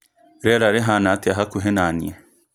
rĩera rĩhana atĩa hakuhĩ na niĩ